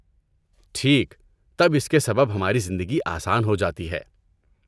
ٹھیک، تب اس کے سبب ہماری زندگی آسان ہو جاتی ہے۔